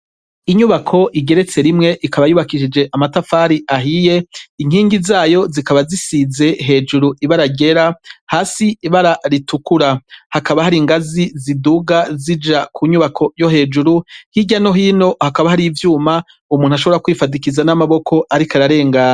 Inyubako igeretse rimwe ikaba yubakishije amatafari ahiye, inkingi zayo zikaba zisize hejuru ibara ryera, hasi ibara ritukura, hakaba hari ingazi ziduga zija munyubako yo hejuru, hirya no hino hakaba harih' ivyuma umuntu ashobora kwifadikiza n'amaboko ariko ararengana.